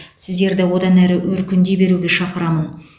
сіздерді одан әрі өркіндей беруге шақырамын